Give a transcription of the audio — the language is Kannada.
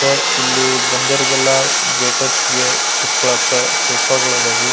ತ ಇಲ್ಲಿ ಬಂದರಿಗೆಲ್ಲ ವೇಟರ್ಸ್ಗೆ ಕುತ್ಕೊಳಕ್ಕ ಸೋಫಾಗಳು ಇದ್ದವು-